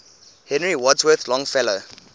henry wadsworth longfellow